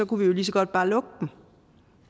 kunne vi jo lige så godt bare lukke dem